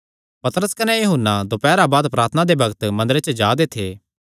पतरस कने यूहन्ना दोपैरा बाद प्रार्थना दे बग्त मंदरे च जा दे थे